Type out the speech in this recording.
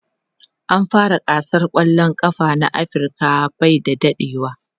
an fara gasar kwallan kafa na Africa by da dadewa